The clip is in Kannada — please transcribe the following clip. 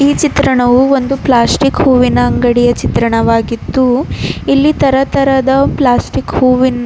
ಈ ಚಿತ್ರಣವು ಒಂದು ಪ್ಲಾಸ್ಟಿಕ್ ಹೂವಿನ ಅಂಗಡಿಯ ಚಿತ್ರಣವಾಗಿದ್ದು ಇಲ್ಲಿ ತರ ತರದ ಪ್ಲಾಸ್ಟಿಕ್ ಹೂವಿನ್ --